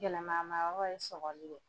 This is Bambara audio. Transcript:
Gɛlɛman ma yɔrɔ ye sɔkɔli de ye.